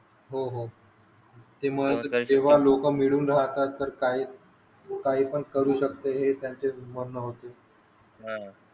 हो हो तेव्हा लोक मिडून राहतात तर काही काही पण करू शकते म्हणण होते हो